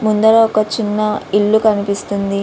ముందు ఒక చిన్న ఇల్లు కనిపిస్తోంది.